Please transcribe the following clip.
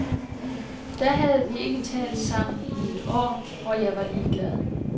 Da havde vi ikke talt sammen i et år og jeg var ligeglad.